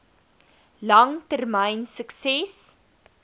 lang termyn sukses